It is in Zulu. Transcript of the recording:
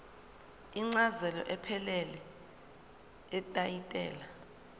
incazelo ephelele yetayitela